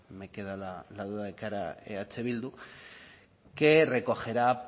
me queda la duda de que hará eh bildu que recogerá